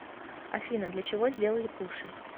афина для чего сделали пуши